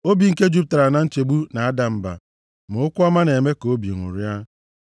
Obi nke jupụtara na nchegbu na-ada mba, ma okwu ọma na-eme ka obi ṅụrịa.